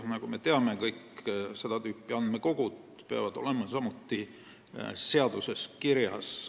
Nagu me teame, kõik seda tüüpi andmekogud peavad olema seaduses kirjas.